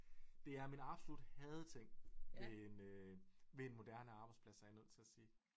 Det er min absolut hadeting ved en ved en moderne arbejdsplads er jeg nødt til at sige